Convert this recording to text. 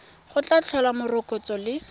go tla tlhola morokotso le